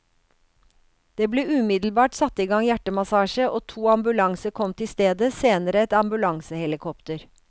Det ble umiddelbart satt i gang hjertemassasje og to ambulanser kom til stedet, senere et ambulansehelikopter.